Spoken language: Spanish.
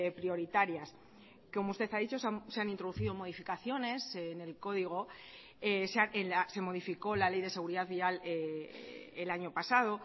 prioritarias como usted ha dicho se han introducido modificaciones en el código se modificó la ley de seguridad vial el año pasado